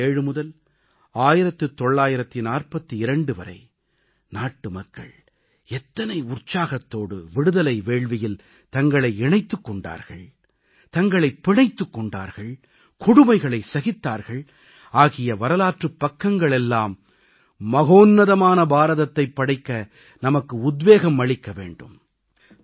1857 முதல் 1942 வரை நாட்டுமக்கள் எத்தனை உற்சாகத்தோடு விடுதலை வேள்வியில் தங்களை இணைத்துக் கொண்டார்கள் தங்களைப் பிணைத்துக் கொண்டார்கள் கொடுமைகளை சகித்தார்கள் ஆகிய வரலாற்றுப் பக்கங்கள் எல்லாம் மகோன்னதமான பாரதத்தை படைக்க நமக்கு உத்வேகம் அளிக்க வேண்டும்